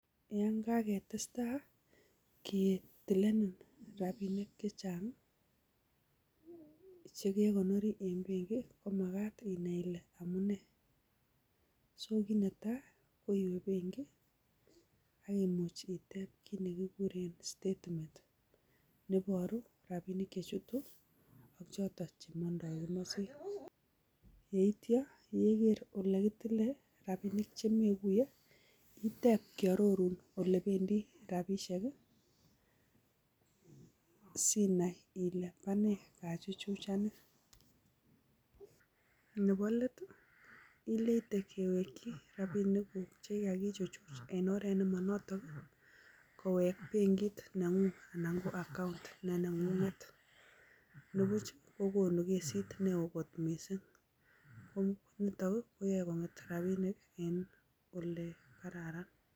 Eng kaketestai ketilenen rapinik che chang chekekonori eng' penki komakat inai ile amune so kiy netai ko iwe penki akimuch itep kiit nekikure statement neiboru ropinik che chutu choto chemondoi yeityo yeker ole kitile rapinik chemekuye itep kiarorun ole bendi ropishek Sinai ile bone kachuchuchani nebo let ileite kewekchi ropinik kuk chekikichuchuch en oret nemanoton kowek penkit neng'ung ana koba account ne nengung nepuch kokonu kesit neokot missing ko nito koyoe konget ropinik ole kararan.